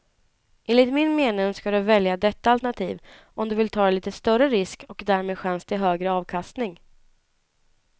Enligt min mening ska du välja detta alternativ om du vill ta lite större risk och därmed chans till högre avkastning.